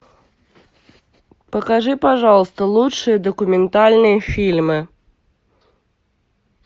покажи пожалуйста лучшие документальные фильмы